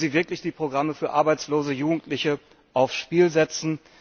Wollen Sie wirklich die Programme für arbeitslose Jugendliche aufs Spiel setzen?